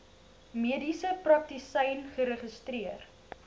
mediese praktisyn geregistreer